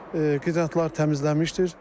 Qidatlar təmizlənmişdir.